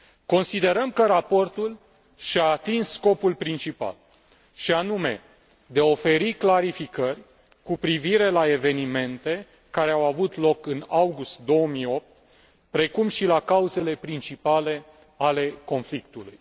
Considerăm că raportul și a atins scopul principal și anume, de a oferi clarificări cu privire la evenimente care au avut loc în august 2008, precum și la cauzele principale ale conflictului.